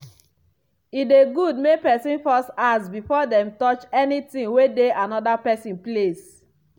e dey good make pesin first ask before dem touch any ting wey dey anoda pesin place.